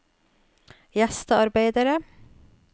gjestearbeidere